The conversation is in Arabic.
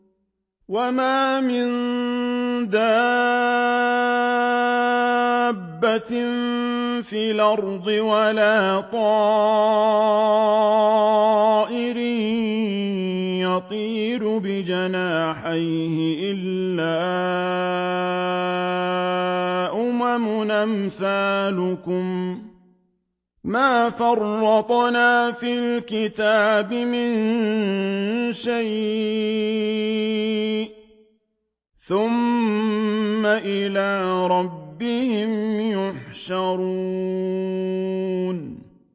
وَمَا مِن دَابَّةٍ فِي الْأَرْضِ وَلَا طَائِرٍ يَطِيرُ بِجَنَاحَيْهِ إِلَّا أُمَمٌ أَمْثَالُكُم ۚ مَّا فَرَّطْنَا فِي الْكِتَابِ مِن شَيْءٍ ۚ ثُمَّ إِلَىٰ رَبِّهِمْ يُحْشَرُونَ